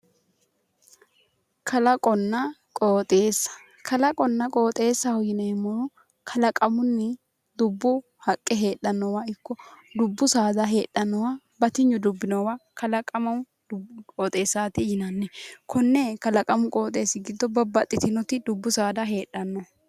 Kalaqonna qooxeessa kalaqonna qooxeessaho yineemmohu kalaqamunni dubbu haqqe heedhannowa ikko dibbu saada heedhannowa batinyu dubbi noowa kalaqamamu qooxeessaati yinanni konne kalaqamu qooxeessi giddo babbaxxitinoti dubbu saada heedhanno